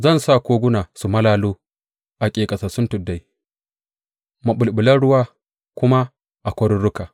Zan sa koguna su malalo a ƙeƙasassun tuddai, maɓulɓulan ruwa kuma a kwaruruka.